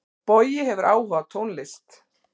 Bogi hefur áhuga á tónlist.